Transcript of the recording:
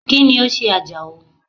Kíni o se Àjàó?